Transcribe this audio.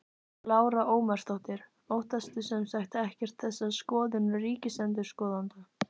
Lára Ómarsdóttir: Óttastu sem sagt ekkert þessa skoðun ríkisendurskoðanda?